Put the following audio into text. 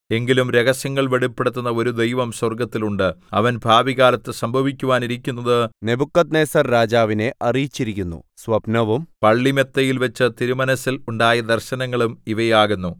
എങ്കിലും രഹസ്യങ്ങൾ വെളിപ്പെടുത്തുന്ന ഒരു ദൈവം സ്വർഗ്ഗത്തിൽ ഉണ്ട് അവൻ ഭാവികാലത്ത് സംഭവിക്കുവാനിരിക്കുന്നത് നെബൂഖദ്നേസർരാജാവിനെ അറിയിച്ചിരിക്കുന്നു സ്വപ്നവും പള്ളിമെത്തയിൽവച്ച് തിരുമനസ്സിൽ ഉണ്ടായ ദർശനങ്ങളും ഇവയാകുന്നു